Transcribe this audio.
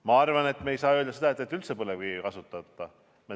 Ma arvan, et me ei saa öelda, et me üldse põlevkivi ei kasuta.